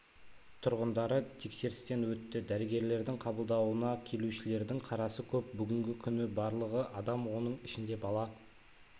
тұрғындары тексерістен өтті дәрігерлердің қабылдауына келушілердің қарасы көп бүгінгі күні барлығы адам оның ішінде бала